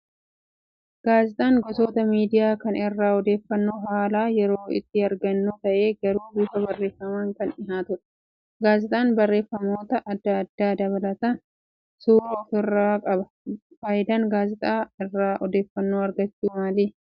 Gaazexaan gosoota miidiyaa kan irraa odeeffannoo haala yeroo itti aragannu ta'ee garuu bifa barreeffamaan kan dhiyaatudha. Gaazexaan barreeffamoota adda addaa dabalataan suuraa ofirraa qaba. Fayidaan gaazexaa irraa odeeffannoo argachuu maali?